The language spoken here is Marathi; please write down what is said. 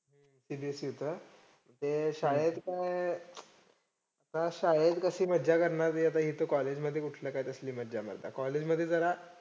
CBSE होतं. ते शाळेत काय काय शाळेत कशी मज्जा करणार, मी आता इथं college मध्ये कुठलं काय तसली मज्जा मर्दा. college मध्ये जरा